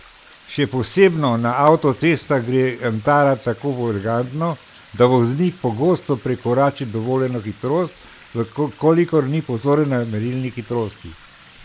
Še posebno na avtocestah gre antara tako elegantno, da voznik pogosto prekorači dovoljeno hitrost, v kolikor ni pozoren na merilnik hitrosti.